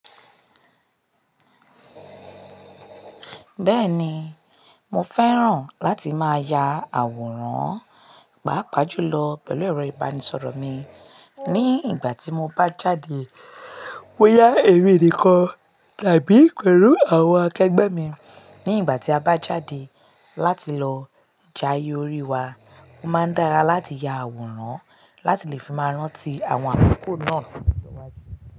Bẹ́ẹ̀ni, mo fẹ́ràn láti máa ya àwòrán, pàápàá jùlọ pẹ̀lú ẹ̀rọ ìbánisọ̀rọ̀ mi. Ní ìgbà tí mo bá jáde wáyà èmi nìkan tàbí pẹ̀lú àwọn akẹgbẹ́ mi. Ní ìgbà tí a bá jáde láti lọ jayé orí wa, ó máa dára láti ya àwòrán láti lè fi máa rántí àwọn àkoko náà lọ́jọ́ iwájú.